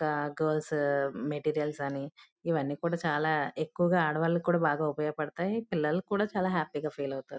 ఆ girls materials అని ఇవన్నీ కూడా చాల ఎక్కువగా ఆడవాళ్లు కూడా బాగా ఉపయోగ పడతాయి. పిల్లలు కూడా చాల హ్యాపీ గ ఫీల్ అవుతారు.